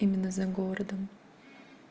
именно за городом